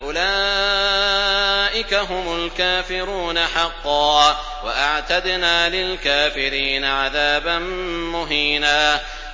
أُولَٰئِكَ هُمُ الْكَافِرُونَ حَقًّا ۚ وَأَعْتَدْنَا لِلْكَافِرِينَ عَذَابًا مُّهِينًا